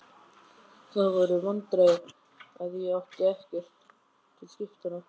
Það voru vandræði að ég átti ekkert til skiptanna.